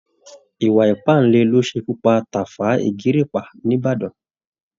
Ìwà iìpàǹle ló ṣekú pa tàfá ìgìrìpá níbàdàn